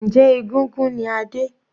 Njẹ́ egúngún ni Adé?